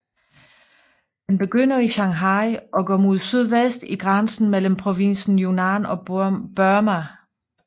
Den begynder i Shanghai og og går mod sydvest til grænsen mellem provinsen Yunnan og Burma